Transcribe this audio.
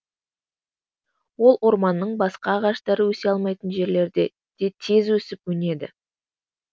ол орманның басқа ағаштары өсе алмайтын жерлерде де тез өсіп өнеді